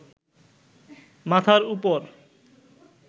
মাথার ওপর